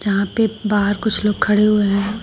यहां पे बाहर कुछ लोग खड़े हुए हैं।